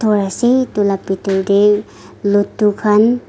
ase etu la pethor dae ladoo khan--